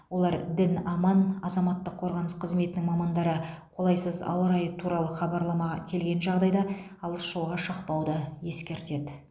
олар дін аман азаматтық қорғаныс қызметінің мамандары қолайсыз ауа райы туралы хабарлама келген жағдайда алыс жолға шықпауды ескертеді